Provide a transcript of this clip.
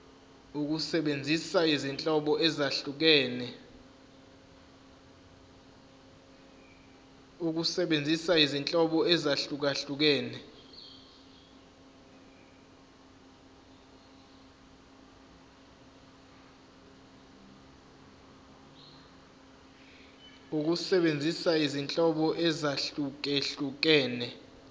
ukusebenzisa izinhlobo ezahlukehlukene